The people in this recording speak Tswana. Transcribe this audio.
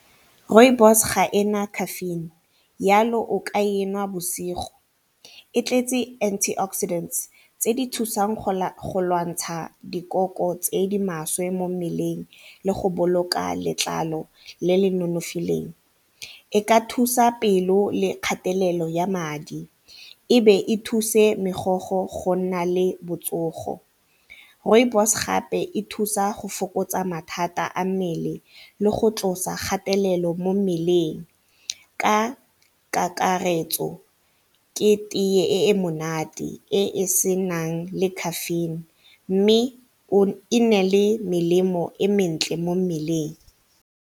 Rooibos ga ena caffeine yalo o ka e nwa bosigo, e tletse anti oxidants tse di thusang go lwantsha dikoko tse di maswe mo mmeleng le go boloka letlalo le le nonofileng e ka thusa pelo le kgatelelo ya madi ebe e thuse megogo go nna le botsogo. Rooibos gape e thusa go fokotsa mathata a mmele le go tlosa kgatelelo mo mmeleng ka kakaretso ke tee e e monate e e senang le caffeine mme e nale melemo e mentle mo mmeleng.